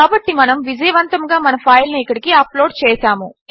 కాబట్టి మనము విజయవంతముగా మన ఫైల్ను ఇక్కడికి అప్లోడ్ చేసాము